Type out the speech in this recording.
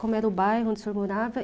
Como era o bairro onde o senhor morava?